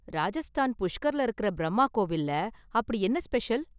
ராஜஸ்தான் புஷ்கர்ல இருக்கற பிரம்மா கோவில்ல அப்படி என்ன ஸ்பெஷல்?